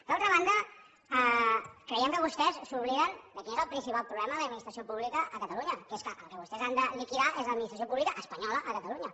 d’altra banda creiem que vostès s’obliden de quin és el principal problema de l’administració pública a catalunya que és que el que vostès han de liquidar és l’administració pública espanyola a catalunya